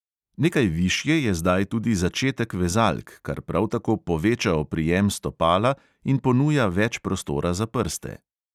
Nekaj višje je zdaj tudi začetek vezalk, kar prav tako poveča oprijem stopala in ponuja več prostora za prste.